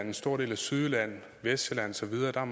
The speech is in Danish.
en stor del af sydjylland vestsjælland og så videre er